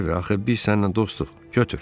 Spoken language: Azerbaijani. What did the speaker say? Harvi, axı biz səninlə dostuq.